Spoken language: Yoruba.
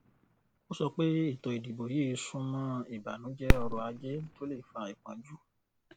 ó sọ pé ètòìdìbò yìí sún mọ ìbànújẹ ọrọajé tó le fa ìpọnjú